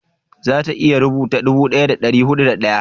za ta iya rubuta dubu daya da dari hudu da daya?